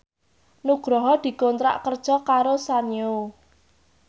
Nugroho dikontrak kerja karo Sanyo